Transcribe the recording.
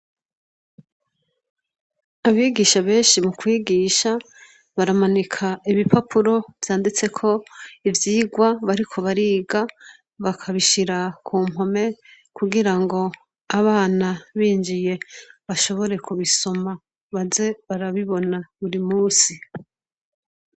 Abigisha benshi, mukwigisha baramanika ibipapuro vyanditseko ivyigwa bariko bariga Bakabishira kumpome, kugirango Abana binjiye baze barabisoma baze barabibona burimusi.